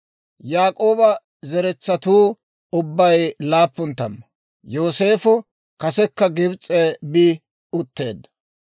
Yaak'ooba zeretsatuu ubbay laappun tamma; Yooseefo kasekka Gibs'e bi utteedda.